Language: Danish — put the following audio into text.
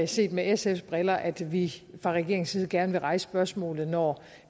set med sfs briller at vi fra regeringens side gerne vil rejse spørgsmålet når